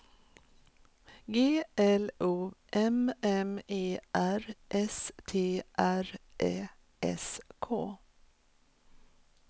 G L O M M E R S T R Ä S K